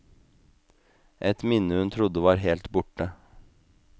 Et minne hun trodde var helt borte.